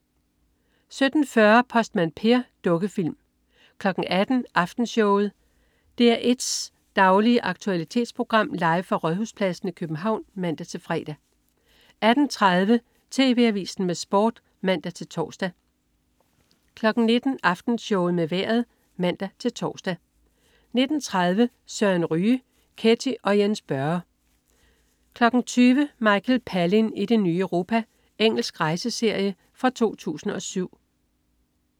17.40 Postmand Per. Dukkefilm 18.00 Aftenshowet. DR1's daglige aktualitetsprogram, live fra Rådhuspladsen i København (man-fre) 18.30 TV Avisen med Sport (man-tors) 19.00 Aftenshowet med Vejret (man-tors) 19.30 Søren Ryge. Ketty og Jens Børre 20.00 Michael Palin i det nye Europa. Engelsk rejseserie fra 2007